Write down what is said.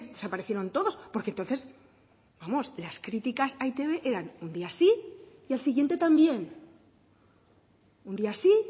desaparecieron todos porque entonces vamos las críticas a e i te be eran un día sí y al siguiente también un día sí